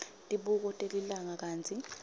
tibuko telilanga kantsi